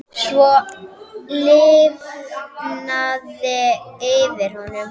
Svo lifnaði yfir honum.